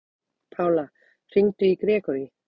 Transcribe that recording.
Pála, hringdu í Grégory.